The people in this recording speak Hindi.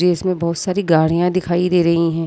में बहुत सारी गाड़ियां दिखाई दे रही है |